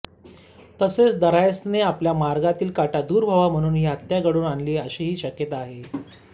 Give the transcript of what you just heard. तसेच दरायसने आपल्या मार्गातील काटा दूर व्हावा म्हणून ही हत्या घडवून आणली अशीही शक्यता आहे